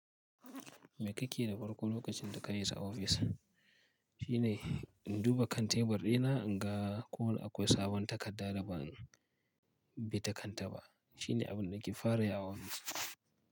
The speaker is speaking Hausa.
Mai kake da farko lokacin da ka isa ofis? Shi ne in duba kan tebur ɗina, in ga ko akwai sabon takarda da ban bi ta kanta ba. Shi ne abin da nake farayi a ofis.